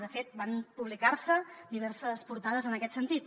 de fet van publicar se diverses portades en aquest sentit